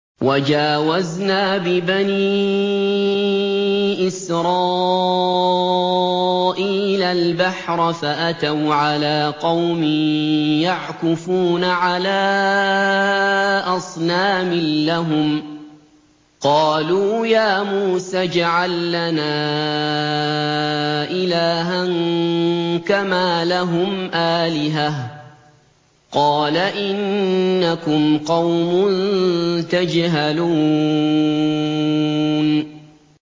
وَجَاوَزْنَا بِبَنِي إِسْرَائِيلَ الْبَحْرَ فَأَتَوْا عَلَىٰ قَوْمٍ يَعْكُفُونَ عَلَىٰ أَصْنَامٍ لَّهُمْ ۚ قَالُوا يَا مُوسَى اجْعَل لَّنَا إِلَٰهًا كَمَا لَهُمْ آلِهَةٌ ۚ قَالَ إِنَّكُمْ قَوْمٌ تَجْهَلُونَ